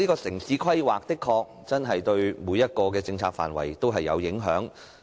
城市規劃的確對每個政策範疇都有影響。